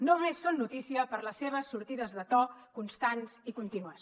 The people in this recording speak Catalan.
només són notícia per les seves sortides de to constants i contínues